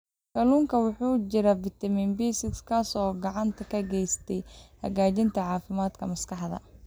Kalluunka waxaa ku jira fitamiin B6 kaas oo gacan ka geysta hagaajinta caafimaadka maskaxda.